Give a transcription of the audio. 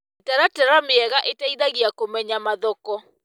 Mĩtaratara mĩega ĩteithagia kũmenya mathoko.